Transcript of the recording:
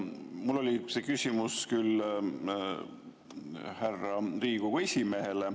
Mul oli see küsimus küll härra Riigikogu esimehele …